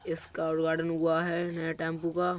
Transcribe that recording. इसका उद्घाटन हुआ है नए टेंपु का।